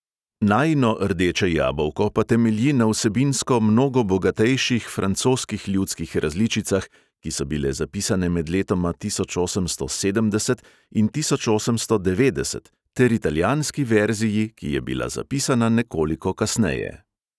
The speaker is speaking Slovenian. Najino rdeče jabolko pa temelji na vsebinsko mnogo bogatejših francoskih ljudskih različicah, ki so bile zapisane med letoma tisoč osemsto sedemdeset in tisoč osemsto devetdeset, ter italijanski verziji, ki je bila zapisana nekoliko kasneje.